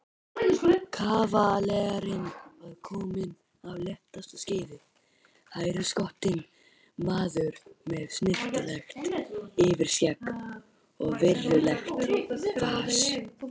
Kavalerinn var kominn af léttasta skeiði, hæruskotinn maður með snyrtilegt yfirskegg og virðulegt fas.